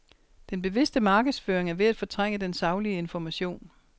Den bevidste markedsføring er ved at fortrænge den saglige information.